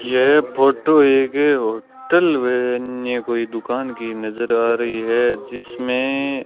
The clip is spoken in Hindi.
यह फोटो एक होटल व अन्य कोई दुकान की नजर आ रही है जिसमें --